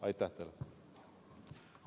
Aitäh teile!